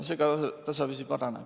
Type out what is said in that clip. See ka tasapisi paraneb.